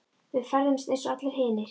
Við ferðumst eins og allir hinir.